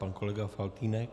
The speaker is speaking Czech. Pan kolega Faltýnek.